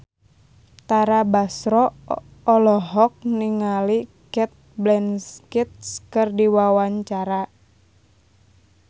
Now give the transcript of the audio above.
Tara Basro olohok ningali Cate Blanchett keur diwawancara